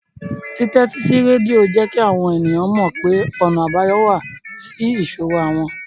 Títẹ́tí sí rédíò jẹ́ kí àwọn ènìyàn mọ̀ pé ọ̀nà àbáyọ wà sí ìṣòro àwọn